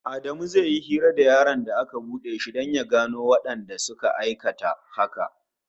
Adamu zai yi hira da yaron da aka duke shi don ya gano wanda suka aikata haka